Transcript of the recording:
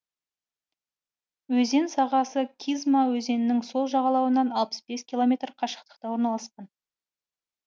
өзен сағасы кизьма өзенінің сол жағалауынан алпыс бес километр қашықтықта орналасқан